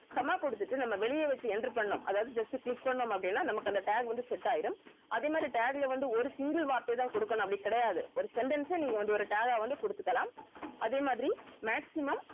comma குடுத்துட்டு நம்ம வெளியே வெச்சு enter பண்ணனும் அதாவது just click பண்ணோம் அப்படின்னா நமக்கு அந்த tag வந்து set ஆயிடும் அதே மாதிரி tag ல வந்து ஒரு single வார்த்தை தான் குடுக்கணும் அப்படின்னு கிடையாது ஒரு sentence அ நீங்க வந்து ஒரு tag ஆ வந்து குடுத்துக்கலாம் அதே மாதிரி maximum